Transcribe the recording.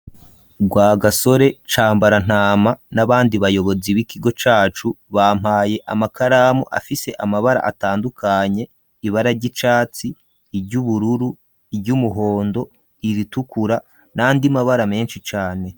Rwagasore Cambarantama n'abandi bayobozi b'ikigo cacu, bampaye amakaramu afise amabara atandukanye, ibara ry'icatsi, iry'ubururu, iry'umuhondo, iritukura nandi mabara menshi cane.